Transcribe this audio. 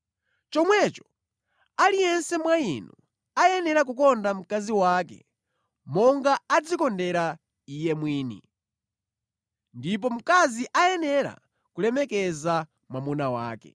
Chomwecho, aliyense mwa inu akuyenera kukonda mkazi wake monga adzikondera iye mwini, ndipo mkazi akuyenera kulemekeza mwamuna wake.